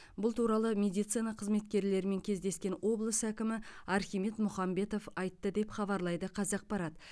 бұл туралы медицина қызметкерлерімен кездескен облыс әкімі архимед мұхамбетов айтты деп хабарлайды қазақпарат